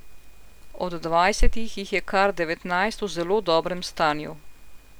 Od dvajsetih jih je kar devetnajst v zelo dobrem stanju.